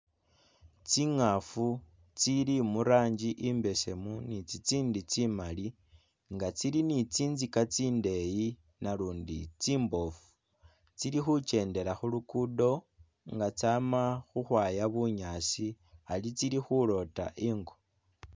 tsingafu tsili muranji imbesemu ni'tsitsindi tsi'mali nga tsili ni tsinzika tsindeyi nalundi tsimbofu, tsili hu kyendela hulugudo nga tsama huhwaya bunyaasi ari tsili huloota ingo